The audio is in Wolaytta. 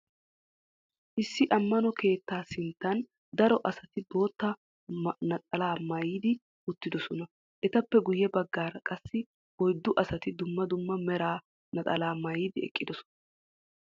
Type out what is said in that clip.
Issi ammano keettaa sinttan daro asati bootta naxalaa maayidi uttidosona. Etappe guyye baggaara qassi oyddu asati dumma dumma mera naxalaa maayidi eqqidosona.